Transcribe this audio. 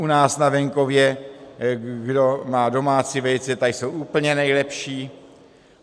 U nás na venkově, kdo má domácí vejce, tak jsou úplně nejlepší.